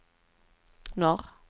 norr